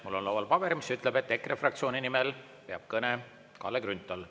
Mul on laual paber, mis ütleb, et EKRE fraktsiooni nimel peab kõne Kalle Grünthal.